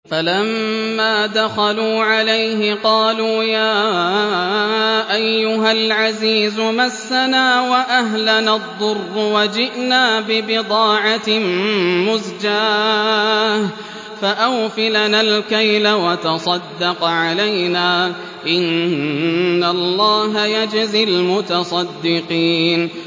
فَلَمَّا دَخَلُوا عَلَيْهِ قَالُوا يَا أَيُّهَا الْعَزِيزُ مَسَّنَا وَأَهْلَنَا الضُّرُّ وَجِئْنَا بِبِضَاعَةٍ مُّزْجَاةٍ فَأَوْفِ لَنَا الْكَيْلَ وَتَصَدَّقْ عَلَيْنَا ۖ إِنَّ اللَّهَ يَجْزِي الْمُتَصَدِّقِينَ